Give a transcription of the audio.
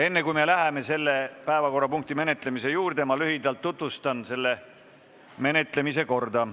Enne kui me läheme selle päevakorrapunkti menetlemise juurde, ma lühidalt tutvustan selle menetlemise korda.